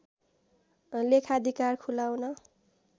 लेखाधिकार खुलाउन